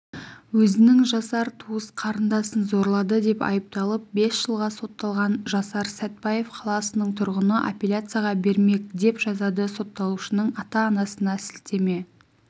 өзінің жасар туыс қарындасын зорлады деп айыпталып бес жылға сотталған жасар сәтпаев қаласының тұрғыны аппеляцияға бермек деп жазады сотталушының ата-анасына сілтеме